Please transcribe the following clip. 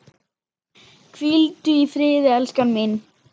Hvíldu í friði, elskan mín.